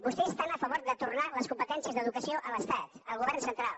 vostès estan a favor de tornar les competències d’educació a l’estat al govern central